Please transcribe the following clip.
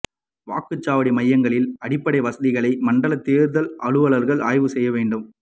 வாக்குச்சாவடி மையங்களில் அடிப்படை வசதிகளை மண்டல தேர்தல் அலுவலர்கள் ஆய்வு செய்ய வேண்டும்